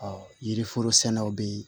yiri foro sɛnɛw bɛ yen